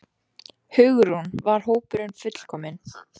Hugrún: Var hópurinn fullkominn?